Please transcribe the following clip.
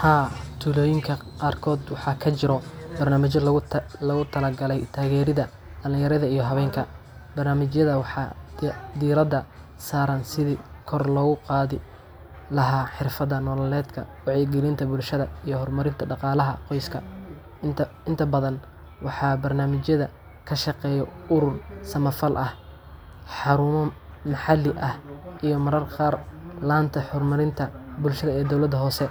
Haa tuloyinka qar koda waxaa kajiro barnamijo logu talagale tagerida dalin yaraada iyo hawenka, marnamijaada waxaa diraada sara si logu qadhi laha xirfaada nololedka bulshaada iyo hormarinta qoska, inta badan waxaa barnamijaada kashaqeyo urur samafal ah xarumo maxali ah iyo mararka qar lanta hormarinta bulshaada hose